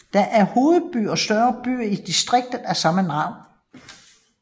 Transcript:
Den er hovedby og største by i distriktet af samme navn